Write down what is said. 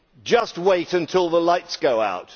Just wait until the lights go out.